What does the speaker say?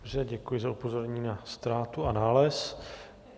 Dobře, děkuji za upozornění na ztrátu a nález.